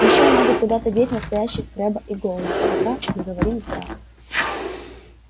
и ещё надо куда-то деть настоящих крэбба и гойла пока мы говорим с драко